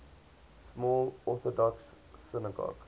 small orthodox synagogue